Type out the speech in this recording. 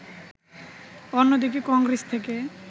অন্যদিকে কংগ্রেস থেকে